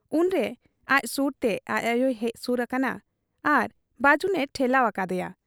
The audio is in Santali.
ᱩᱱᱨᱮ ᱟᱡ ᱥᱩᱨᱛᱮ ᱟᱡ ᱟᱭᱚᱭ ᱦᱮᱡ ᱥᱩᱨ ᱟᱠᱟᱱᱟ ᱟᱨ ᱵᱟᱹᱡᱩᱱᱮ ᱴᱷᱮᱞᱟᱣ ᱟᱠᱟᱫ ᱮᱭᱟ ᱾